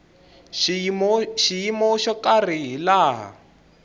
xiyimo xo karhi hi laha